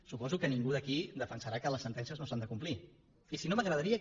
suposo que ningú d’aquí defensarà que les sentències no s’han de complir i si no m’agradaria